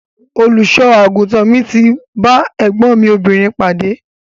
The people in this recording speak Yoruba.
Olùṣọ àgùntàn mi ti ba ẹgbọn mi obìnrin pade.